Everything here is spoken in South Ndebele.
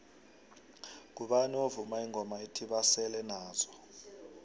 ngubani ovuma ingoma ethi basele nazo